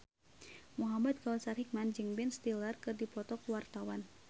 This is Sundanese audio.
Muhamad Kautsar Hikmat jeung Ben Stiller keur dipoto ku wartawan